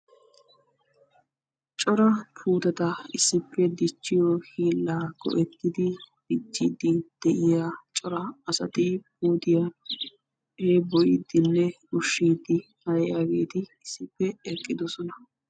cora puutetta issippe dichiyo hiillaa go'ettidi dichiidi de'iya cora asati puuttiya heeeboyiidinne ushiidi aybaa giidi issippe de'oosona.